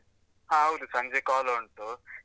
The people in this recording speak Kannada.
ಹಾ ಹೌದು, ಸಂಜೆ ಕೋಲ ಉಂಟು.